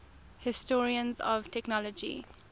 historians of technology